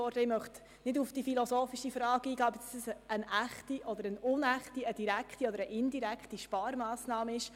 Ich möchte nicht auf die philosophische Frage eingehen, ob es sich um eine echte, unechte, direkte oder eine indirekte Sparmassnahme handelt.